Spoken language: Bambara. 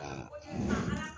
ka